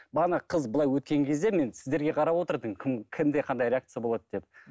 бағана қыз былай өткен кезде мен сіздерге қарап отырдым кім кімде қандай реакция болады деп